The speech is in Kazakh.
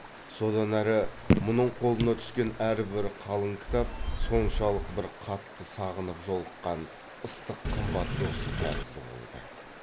содан әрі мұның қолына түскен әрбір қалың кітап соншалық бір қатты сағынып жолыққан ыстық қымбат досы тәрізді болды